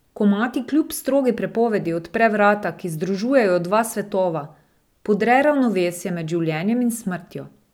Ko mati kljub strogi prepovedi odpre vrata, ki združujejo dva svetova, podre ravnovesje med življenjem in smrtjo.